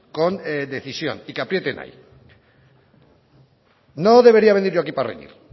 con decisión y que aprieten ahí no debería venir yo para reñir